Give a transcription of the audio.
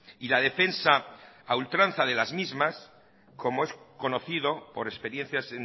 y la defensa a ultranza de las mismas como es conocido por experiencias